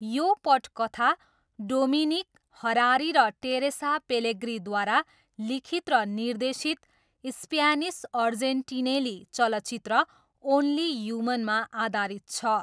यो पटकथा Dominic Harari र टेरेसा पेलेग्रीद्वारा लिखित र निर्देशित स्प्यानिस अर्जेन्टिनेली चलचित्र ओन्ली ह्युमनमा आधारित छ।